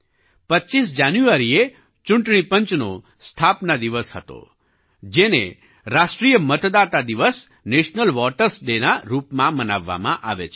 25 જાન્યુઆરીએ ચૂંટણી પંચની સ્થાપના દિવસ હતો જેમણે રાષ્ટ્રીય મતદાતા દિવસ નેશનલ વોટર્સ Dayના રૂપમાં મનાવવામાં આવે છે